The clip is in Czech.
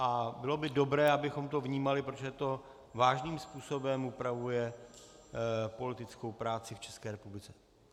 A bylo by dobré, abychom to vnímali, protože to vážným způsobem upravuje politickou práci v České republice.